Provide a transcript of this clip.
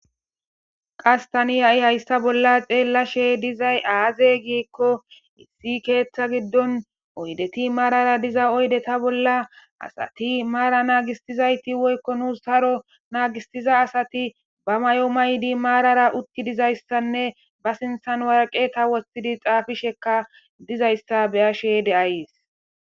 Qastani ha7i hayssa bolla deelashe dizay aaze giikko issi keeththa giddon oydeti maarara diza oydeta bolla asati maara naagistizayti woykko nuus saro naagistiza asati ba may7o maydi maarara utti dizayssanne ba sinthan waraqeta wostidi xaafishekka dizayssa beyashe de7ayis